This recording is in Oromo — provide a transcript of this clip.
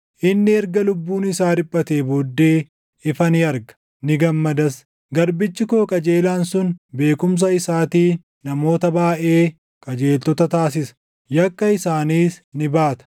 Inni erga lubbuun isaa dhiphatee booddee, ifa ni arga; ni gammadas; garbichi koo qajeelaan sun beekumsa isaatiin namoota baayʼee // qajeeltota taasisa; yakka isaaniis ni baata.